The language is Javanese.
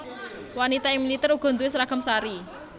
Wanita ing militer uga duwé seragam sari